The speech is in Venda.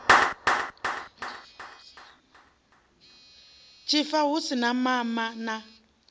tshifa hu u mama na